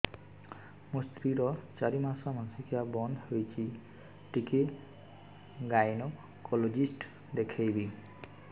ମୋ ସ୍ତ୍ରୀ ର ଚାରି ମାସ ମାସିକିଆ ବନ୍ଦ ହେଇଛି ଟିକେ ଗାଇନେକୋଲୋଜିଷ୍ଟ ଦେଖେଇବି